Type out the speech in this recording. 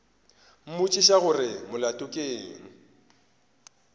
mmotšiša gore molato ke eng